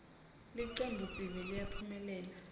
ltcembuiesive liyaphumelela